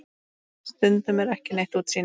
Stundum er ekki neitt útsýni!